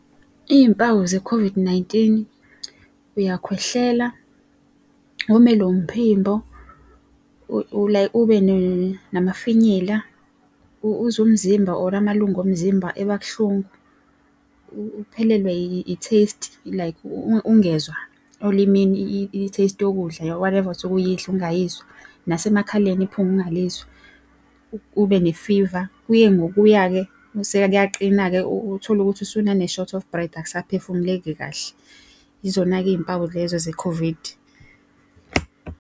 Iy'mpawu ze-COVID-19, uyakhwehlela, womelwe umphimbo, ube namafinyila, uzwe umzimba or amalunga omzimba ebabuhlungu, uphelelwe i-taste like ungezwa olimini i-taste yokudla whatever osuke uyidla ungayizwa. Nasemakhaleni iphunga ungalizwa. Ube ne-fever, kuye ngokuya-ke mese-ke kuyaqina-ke utholukuthi usunane short of breath akusaphefumuleki kahle. Yizona-ke iy'mpawu lezo ze-COVID.